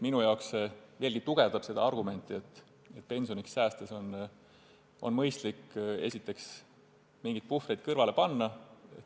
Minu jaoks see veelgi tugevdab argumenti, et pensioniks säästes on mõistlik endale mingisugune puhver tekitada.